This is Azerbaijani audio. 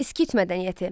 Skit mədəniyyəti.